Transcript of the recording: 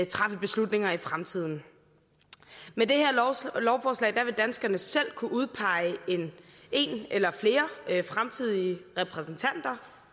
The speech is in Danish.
træffe beslutninger i fremtiden med det her lovforslag vil danskerne selv kunne udpege en eller flere fremtidige repræsentanter